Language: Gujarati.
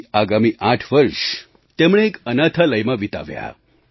પછી આગામી આઠ વર્ષ તેમણે એક અનાથાલયમાં વિતાવ્યાં